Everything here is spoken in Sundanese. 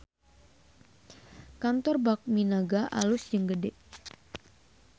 Kantor Bakmi Naga alus jeung gede